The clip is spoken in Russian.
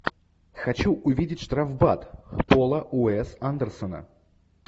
хочу увидеть штрафбат пола уэс андерсона